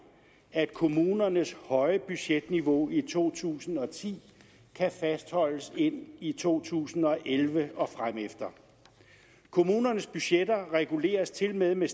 at kommunernes høje budgetniveau i to tusind og ti kan fastholdes ind i to tusind og elleve og fremefter kommunernes budgetter reguleres tilmed med